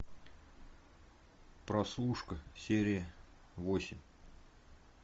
прослушка серия восемь